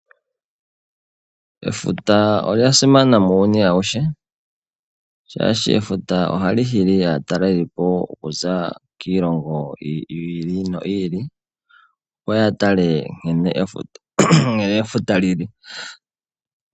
Efuta olya simana muuyuni awuhe shaashi efuta ohali hili aatalelipo oku za kiilongo yi ili no yi ili. Opo ya tale nkene efuta li li.